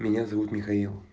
меня зовут михаил